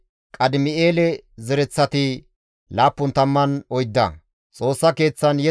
Eraasoone, Neqodanne Gaazaame zereththata,